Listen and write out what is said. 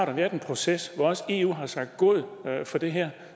har været en proces hvor også eu har sagt god for det her